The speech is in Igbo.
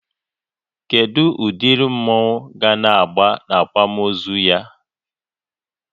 Kedụ ụdịrị mmọnwu ga agba n'akwamozu ya?